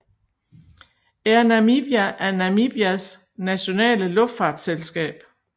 Air Namibia er Namibias nationale luftfartsselskab